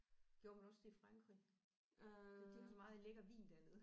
Gjorde man også det i Frankrig? De har jo så meget lækker vin dernede